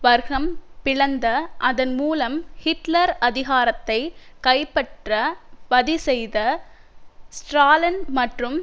வர்க்கம் பிளந்த அதன்மூலம் ஹிட்லர் அதிகாரத்தை கைப்பற்ற வதிசெய்த ஸ்ட்ராலின் மற்றும்